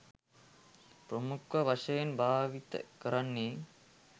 ප්‍රමුඛ වශයෙන් භාවිත කරන්නේ.